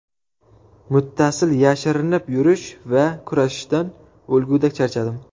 Muttasil yashirinib yurish va kurashishdan o‘lgudek charchadim .